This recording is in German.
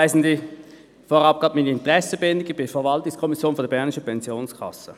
Vorab meine Interessenbindung: Ich bin in der Verwaltungskommission der Bernischen Pensionskasse.